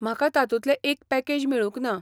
म्हाका तातूंतले एक पॅकेज मेळूंक ना.